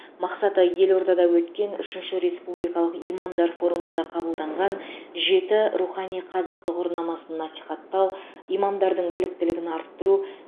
мақсаты елордада өткен үшінші республикалық имамдар форумында қабылданған жеті рухани қазық тұғырнамасын насихаттау имамдардың біліктілігін арттыру